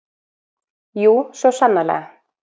Jú, svo sannarlega!